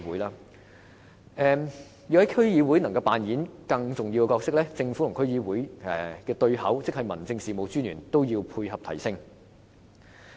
要讓區議會擔當更重要的角色，政府及區議會的對口即民政事務專員也要同時配合提升。